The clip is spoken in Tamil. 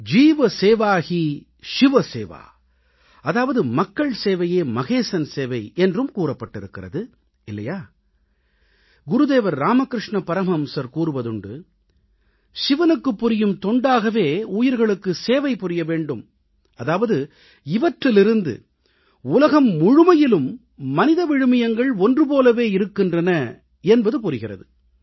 ஜீவ் சேவா ஹீ ஷிவ் சேவா அதாவது மக்கள் சேவையே மகேசன் சேவை என்றும் கூறப்பட்டிருக்கிறது இல்லையா குருதேவர் ராமகிருஷ்ண பரமஹம்சர் கூறுவதுண்டு சிவனுக்குப் புரியும் தொண்டாகவே உயிர்களுக்கு சேவை புரிய வேண்டும் அதாவது இவற்றிலிருந்து உலகம் முழுமையிலும் மனித விழுமியங்கள் ஒன்று போலவே இருக்கின்றன என்பது புரிகிறது